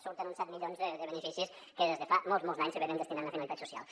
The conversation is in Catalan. surten uns set milions de beneficis que des de fa molts molts d’anys se destinen a finalitats socials